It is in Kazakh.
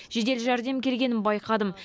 жедел жәрдем келгенін байқадым